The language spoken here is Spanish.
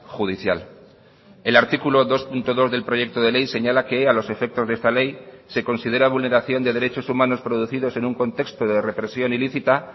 judicial el artículo dos punto dos del proyecto de ley señala que a los efectos de esta ley se considera vulneración de derechos humanos producidos en un contexto de represión ilícita